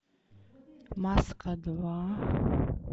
маска два